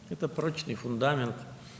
Bu möhkəm təməldir.